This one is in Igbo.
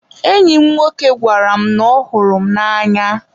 enyi m nwoke gwara m na ọ hụrụ m n'anya.